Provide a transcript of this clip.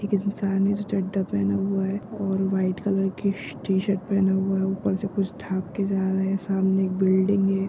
एक इंसान है जो चड्डा पेहना हुआ है और वाइट कलर के टी-शर्ट पेहना हुआ है ऊपर से कुछ ढक के जा रहा है सामने एक बिल्डिंग है।